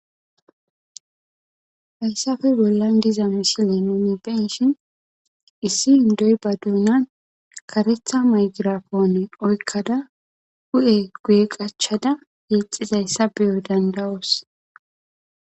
hayssafe bollan diza misile nuuni be7eshin issi indoy ba duunan karetha maygirafoone oykkada hu7e guye qachada yeexizayssa beyo dandawoos